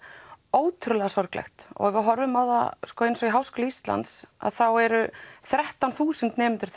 ótrúlega sorglegt og ef við horfum á eins og í Háskóla Íslands þá eru þrettán þúsund nemendur